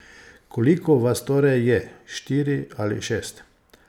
Koliko vas torej je, štiri ali šest?